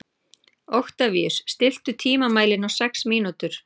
Oktavíus, stilltu tímamælinn á sex mínútur.